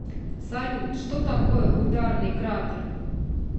салют что такое ударный кратер